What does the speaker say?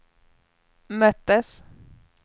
möttes